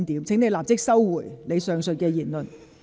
請你立即收回你剛才的言論。